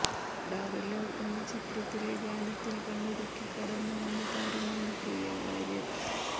Adaar love എന്ന ചിത്രത്തിലെ ഗാനത്തിൽ കണ്ണിറുക്കി കടന്നു വന്ന താരമാണ് പ്രിയ വാര്യർ